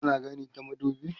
kana gani ta madubi?